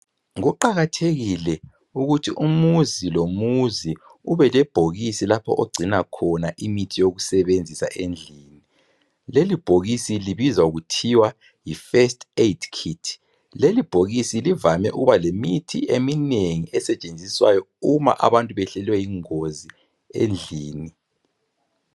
kuqakathekile kuthi umzi lomuzi ubelebhokisi lapho okucinwa khona imuthi yokusebenzisa endlini leli bhokisi libizwa kuthiwa yi first aid kit lelibhokisi livame ukuba lemithi eminengi esetshenziswayo uma abantu behlelwe yingozi rndlini